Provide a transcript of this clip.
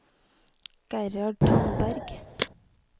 Gerhard Tandberg